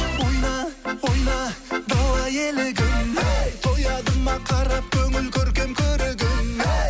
ойна ойна дала елігім әй тояды ма қарап көңіл көркем көрігіңе әй